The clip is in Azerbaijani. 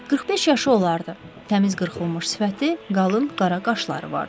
45 yaşı olardı, təmiz qırxılmış sifəti, qalın qara qaşları vardı.